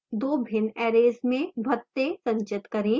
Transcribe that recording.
दो भिन्न arrays में भत्ते संचित करें